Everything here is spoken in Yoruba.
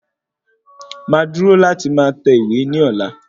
Máa dúró láti máa tẹ̀wé ní ọ̀la